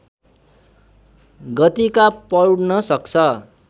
गतिका पौड्न सक्छ